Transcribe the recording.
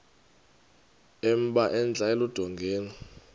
emba entla eludongeni